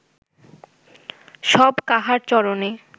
সব কাহার চরণে